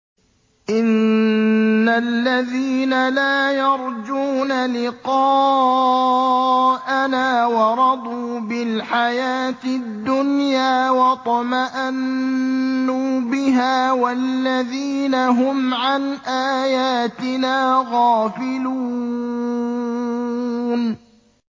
إِنَّ الَّذِينَ لَا يَرْجُونَ لِقَاءَنَا وَرَضُوا بِالْحَيَاةِ الدُّنْيَا وَاطْمَأَنُّوا بِهَا وَالَّذِينَ هُمْ عَنْ آيَاتِنَا غَافِلُونَ